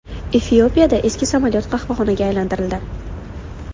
Efiopiyada eski samolyot qahvaxonaga aylantirildi.